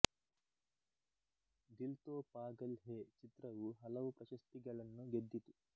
ದಿಲ್ ತೋ ಪಾಗಲ್ ಹೇ ಚಿತ್ರವು ಹಲವು ಪ್ರಶಸ್ತಿಗಳನ್ನು ಗೆದ್ದಿತು